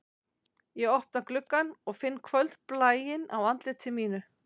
Ég opna gluggann og finn kvöldblæinn á andliti mínu